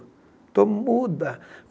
Estou muda.